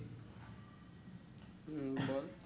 হম বল